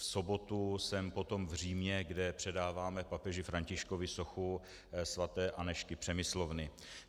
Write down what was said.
V sobotu jsem potom v Římě, kde předáváme papeži Františkovi sochu sv. Anežky Přemyslovny.